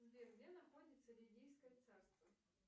сбер где находится лидийское царство